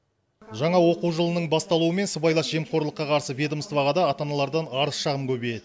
жаңа оқу жылының басталуымен сыбайлас жемқорлыққа қарсы ведомстваға да ата аналардан арыз шағым көбейеді